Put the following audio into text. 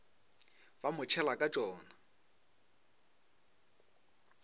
ba mo tšhela ka tšona